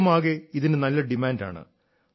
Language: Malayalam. ലോകമാകെ ഇതിന് നല്ല ഡിമാന്റാണ്